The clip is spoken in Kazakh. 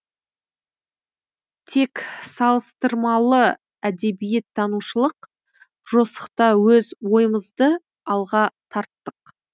тек салыстырмалы әдебиеттанушылық жосықта өз ойымызды алға тарттық